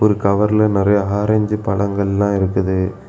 ஒரு கவர்ல நறைய ஆரஞ்சு பழங்கள்லாம் இருக்குது.